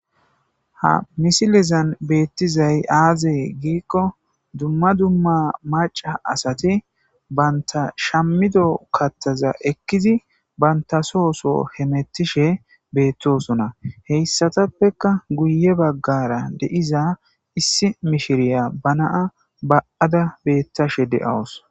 Ha misilezan beettizay aazee giikko dumma dumma maca asati banta shammido kattaza ekkizi bantasooso hemettishe beettosona heyssatappeka guye baggara de7iza issi mishiriya ba naa ba7ada beettashe de7awus.